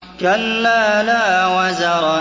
كَلَّا لَا وَزَرَ